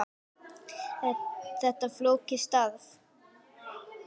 Er þetta flókið starf?